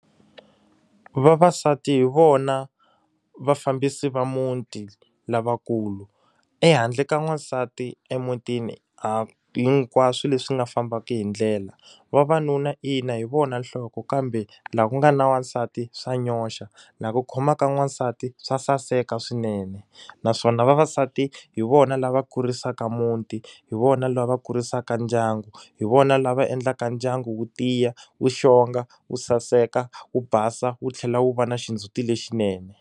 Vavasati hi vona vafambisi va muti lavakulu. Ehandle ka n'wansati emutini, a hi hinkwaswo leswi nga fambaka hi ndlela. Vavanuna ina hi vona nhloko kambe, laha ku nga na wansati swa nyoxa. Laha ku khomaka n'wansati swa saseka swinene. Naswona vavasati hi vona lava kurisaka muti, hi vona lava kurisaka ndyangu, hi vona lava endlaka ndyangu wu tiya, wu xitsonga, wu saseka, wu basa, wu tlhela wu va na xindzuti lexinene.